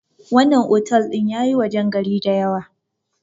wannan otal din ya yi wajen gari da yawa